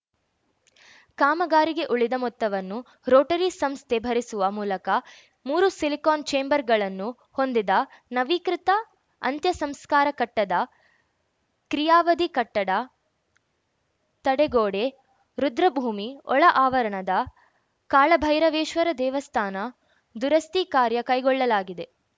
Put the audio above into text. ಕಾಮಗಾರಿಗೆ ಉಳಿದ ಮೊತ್ತವನ್ನು ರೋಟರಿ ಸಂಸ್ಥೆ ಭರಿಸುವ ಮೂಲಕ ಮೂರು ಸಿಲಿಕಾನ್‌ ಛೇಂಬರ್‌ಗಳನ್ನು ಹೊಂದಿದ ನವೀಕೃತ ಅಂತ್ಯಸಂಸ್ಕಾರ ಕಟ್ಟದ ಕ್ರಿಯಾವಿಧಿ ಕಟ್ಟಡ ತಡೆಗೋಡೆ ರುದ್ರಭೂಮಿ ಒಳ ಆವರಣದ ಕಾಳಭೈರವೇಶ್ವರ ದೇವಸ್ಥಾನ ದುರಸ್ತಿ ಕಾರ್ಯ ಕೈಗೊಳ್ಳಲಾಗಿದೆ